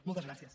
moltes gràcies